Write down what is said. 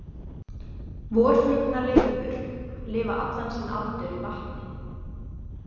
Vorflugnalirfur lifa allan sinn aldur í vatni.